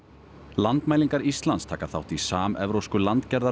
landmælingar Íslands taka þátt í samevrópsku